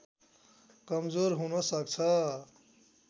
कमजोर हुन सक्छ